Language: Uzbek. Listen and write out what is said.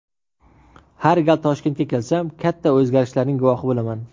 Har gal Toshkentga kelsam, katta o‘zgarishlarning guvohi bo‘laman.